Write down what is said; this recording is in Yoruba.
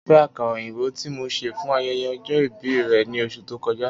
O nifẹ akara oyinbo ti mo ṣe fun ayẹyẹ ọjọ-ibi rẹ ni oṣu to kọja